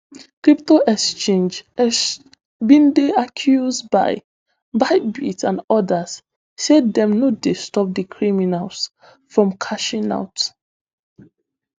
crypto exchange exch bin dey accused by bybit and odas say dem no dey stop di criminals from cashing out